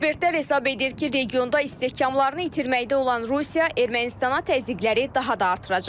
Ekspertlər hesab edir ki, regionda istehkamlarını itirməkdə olan Rusiya Ermənistana təzyiqləri daha da artıracaq.